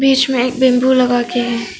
इसमें एक बंबू लगा गया है।